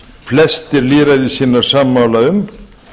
flestir lýðræðissinnar sammála um